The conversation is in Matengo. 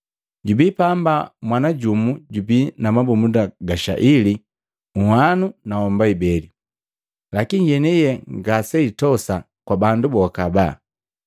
“Jubii pamba mwana jumu jubii na mabumunda ga shaili uhwanu na homba ibeli. Lakini yeniye ngaseitosa kwa bandu boka haba.”